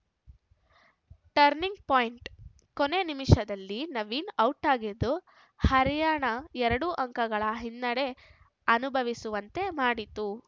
turning point ಕೊನೆ ನಿಮಿಷದಲ್ಲಿ ನವೀನ್‌ ಔಟಾಗಿದ್ದು ಹರ್ಯಾಣ ಎರಡು ಅಂಕಗಳ ಹಿನ್ನಡೆ ಅನುಭವಿಸುವಂತೆ ಮಾಡಿತು